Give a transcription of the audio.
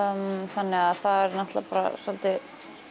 þannig að það er náttúrulega bara svolítið